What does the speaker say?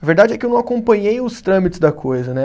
A verdade é que eu não acompanhei os trâmites da coisa, né?